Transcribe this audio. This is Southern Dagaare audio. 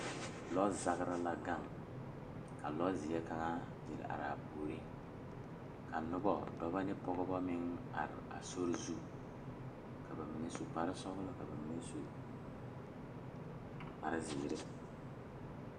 Lɔ zagre la gaŋ a taa trata Koɔri ka dɔɔba are a be ka bamine leri ba nuure a dɔɔ kaŋa su kpare sɔglaa seɛ kuri sɔglaa ka kaŋa meŋ su kpare wogi kyɛ ko e doɔre kyɛ ko vɔgle zupele